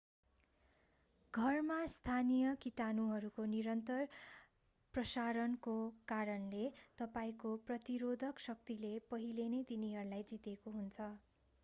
घरमा स्थानीय कीटाणुहरूको निरन्तर प्रशारणको कारणले तपाईंको प्रतिरोधक शक्तिले पहिलेनै तिनीहरूलाई जितेका हुन्छन्